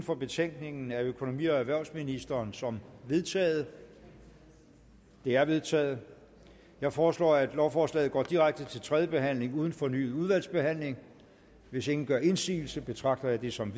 for betænkningen af økonomi og erhvervsministeren som vedtaget det er vedtaget jeg foreslår at lovforslaget går direkte til tredje behandling uden fornyet udvalgsbehandling hvis ingen gør indsigelse betragter jeg det som